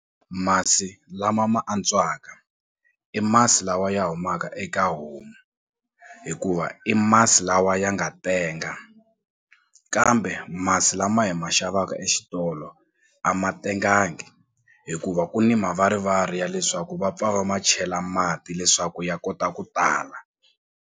Masi lama ma antswaka i masi lawa ya humaka eka homu hikuva i masi lawa ya nga tenga kambe masi lama hi ma xavaka exitolo a ma tengangi hikuva ku ni mavarivari ya leswaku va pfa va ma chela mati leswaku ya kota ku tala.